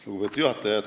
Lugupeetud juhataja!